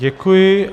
Děkuji.